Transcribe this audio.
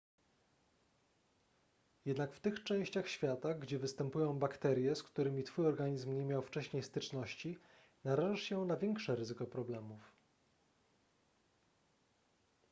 jednak w tych częściach świata gdzie występują bakterie z którymi twój organizm nie miał wcześniej styczności narażasz się na większe ryzyko problemów